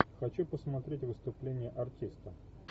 хочу посмотреть выступление артиста